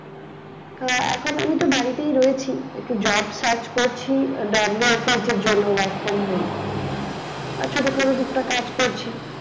আহ এখন আমি তো বাড়িতেই রয়েছি একটু job search করছি WFH এর জন্য work from home আর ছোটোখাটো টুকটাক কাজ করছি।